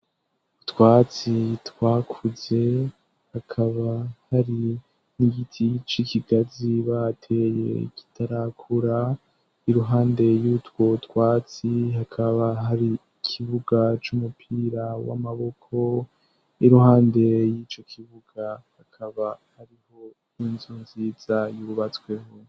Utwatsi twakuze, hakaba hari n'igiti c' ikigazi bateye kitarakura, iruhande y'utwo twatsi hakaba hari kibuga c'umupira w'amaboko, iruhande y'ico kibuga hakaba harihomwo inzu nziza yubatsweho.